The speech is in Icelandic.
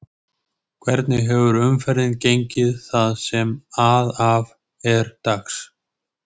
Hvernig hefur umferðin gengið það sem að af er dags?